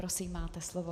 Prosím, máte slovo.